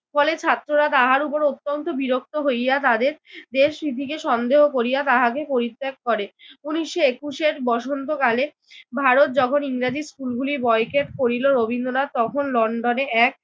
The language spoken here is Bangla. ফলে ছাত্ররা তাহার উপর অত্যন্ত বিরক্ত হইয়া তাদের দেশ রীতিকে সন্দেহ করিয়া তাহাকে পরিত্যাগ করে। উনিশশো একুশের বসন্তকালে ভারত যখন ইংরেজি স্কুলগুলি বয়কট করিল রবীন্দ্রনাথ তখন লন্ডনে এক